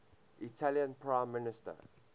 italian prime minister